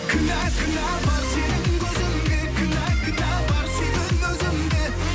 кінә кінә бар сенің көзіңде кінә кінә бар сүйген өзімде